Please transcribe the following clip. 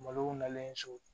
Malow nalen so